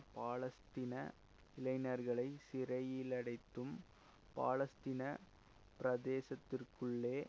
பாலஸ்தீன இளைஞர்களை சிறையிலடைத்தும் பாலஸ்தீன பிரதேசத்திற்குள்ளே